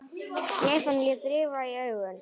Stefán lét rifa í augun.